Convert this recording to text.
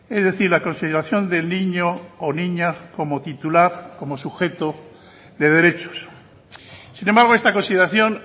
es decir la consideración del niño o niña como titular como sujeto de derechos sin embargo esta consideración